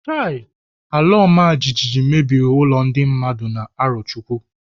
Chai! Alaọmajijiji mebiri ụlọ ndị mmadụ na Arọchukwu.